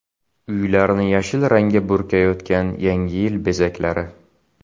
Uylarni yashil rangga burkayotgan Yangi yil bezaklari .